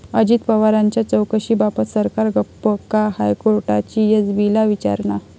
अजित पवारांच्या चौकशीबाबत सरकार गप्प का?, हायकोर्टाची एसीबीला विचारणा